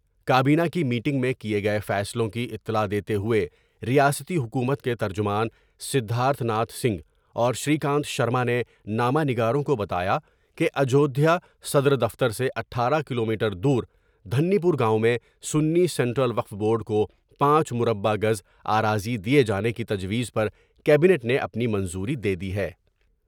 کابینہ کی میٹنگ میں کئے گئے فیصلوں کی اطلاع دیتے ہوئے ریاستی حکومت کے ترجمان سدھارتھ ناتھ سنگھ اور شری کانت شرما نے نامہ نگاروں کو بتا یا کہ اجودھیا صدر دفتر سے اٹھارہ کلو میٹر دور دھنی پور گاؤں میں سنی سینٹرل وقف بورڈ کو پانچ مربہ گز آراضی دئے جانے کی تجویز پر کابنیٹ نے اپنی منظوری دے دی ہے۔